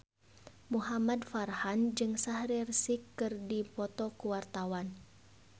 Muhamad Farhan jeung Shaheer Sheikh keur dipoto ku wartawan